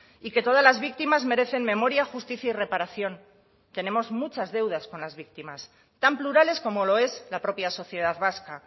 y que todas las víctimas merecen memoria justicia y reparación tenemos muchas deudas con las víctimas tan plurales como lo es la propia sociedad vasca